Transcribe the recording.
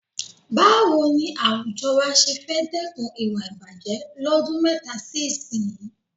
Báwo ni àwùjọ wa ṣé fẹ́ dẹ́kun ìwà ìbàjẹ̀ lọ́dún mẹ́ta sí ìsinyìí?